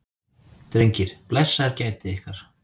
Drengir, blessaðir gætið ykkar.